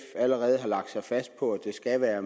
allerede har lagt sig fast på at det skal være